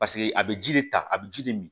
Paseke a bɛ ji de ta a bɛ ji de min